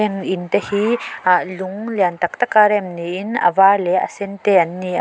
in tehi ahh lung lian tak tak a rem niin avar leh sen te anni--